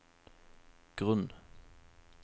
grunn